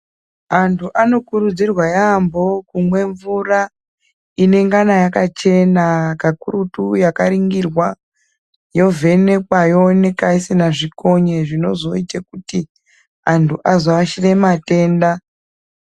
Antu anokurudzirwa yambo kumwa mvura inengana yakachena kakurutu yakaringirwa yovhenekwa yoonekwa isingaiti kuti antu azoashire matenda.